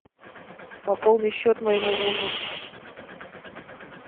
пополни счет моему мужу